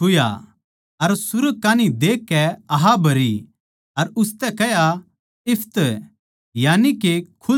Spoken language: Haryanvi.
अर सुर्ग कान्ही देखकै आह भरी अर उसतै कह्या इप्फत्तह यानिके खुल ज्या